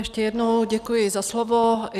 Ještě jednou děkuji za slovo.